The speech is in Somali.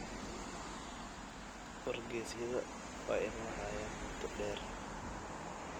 Wargeysyada waa in la hayaa muddo dheer.